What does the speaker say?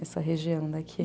Essa região daqui.